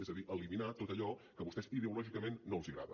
és a dir eliminar tot allò que a vostès ideològicament no els agrada